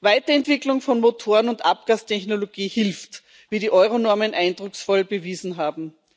Weiterentwicklung von Motoren und Abgastechnologie hilft, wie die Euro Normen eindrucksvoll bewiesen haben.